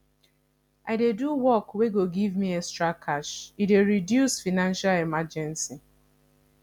i dey do work wey go give me extra cash e dey reduce financial emergency